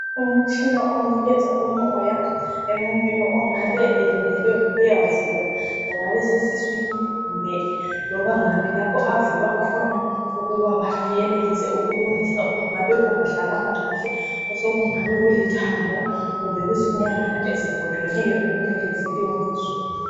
Umtshina onikeza umoya emuntwini ongabe elindele ukuyavulwa kungaba sesiswini kumbe loba ngaphi lapho avulwa khona ukuba benelise ukulungisa okungabe kungahlalanga kuhle kungabe kulithambo kumbe kuzinyamana ezigoqeneyo